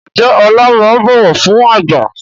Ǹjẹ́ Ọlá máa ń bọ̀wọ̀ fún àgbà?